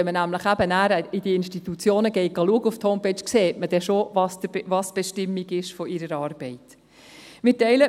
Wenn man auf der Homepage dieser Institutionen nachschaut, sieht man schon, was die Bestimmung ihrer Arbeit ist.